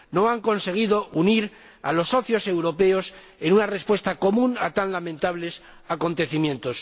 No han conseguido unir a los socios europeos en una respuesta común a tan lamentables acontecimientos.